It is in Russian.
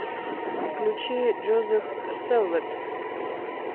включи джозеф сэлвэт